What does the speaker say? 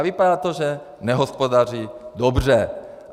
A vypadá to, že nehospodaří dobře.